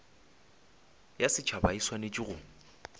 ya setšhaba e swanetše go